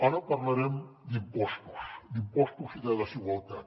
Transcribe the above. ara parlarem d’impostos i de desigualtat